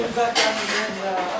Ağzına qədər.